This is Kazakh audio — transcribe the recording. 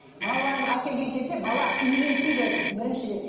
балаларын әкелген кезде бала үйренсін деді біріншіден